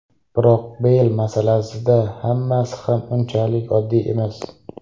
Biroq Beyl masalasida hammasi ham unchalik oddiy emas.